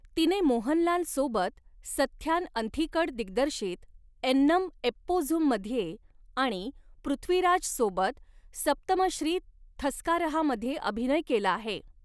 तिने मोहनलाल सोबत सथ्यान अंथिकड दिग्दर्शित एन्नम एप्पोझुम मध्ये आणि पृथ्वीराज सोबत सप्तमश्री थस्कारहामध्ये अभिनय केला आहे.